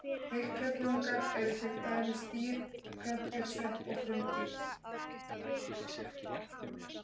Heilkjörnungar eru til dæmis dýr, plöntur, sveppir og frumdýr.